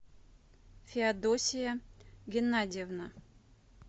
феодосия генадьевна